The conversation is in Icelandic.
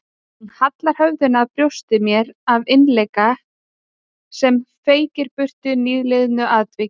Hún hallaði höfðinu að brjósti mér af innileik sem feykti burt nýliðnu atviki.